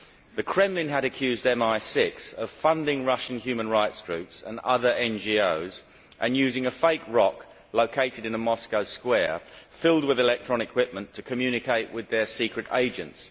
The Kremlin had accused MI6 of funding Russian human rights groups and other NGOs and using a fake rock located in a Moscow square filled with electronic equipment to communicate with their secret agents.